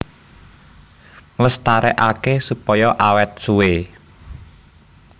Nglestarékaké supaya awét suwé